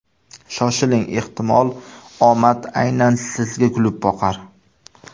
Shoshiling, ehtimol, omad aynan sizga kulib boqar!